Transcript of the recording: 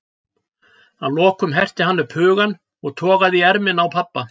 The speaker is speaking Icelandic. Að lokum herti hann upp hugann og togaði í ermina á pabba.